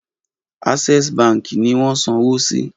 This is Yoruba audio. Access baǹkì ni wọ́n sanwó sí.